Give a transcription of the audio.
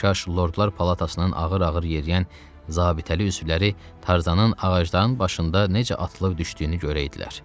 Kaş lordlar palatasının ağır-ağır yeriyən zabitəli üzvləri Tarzanın ağacların başında necə atılıb düşdüyünü görəydilər.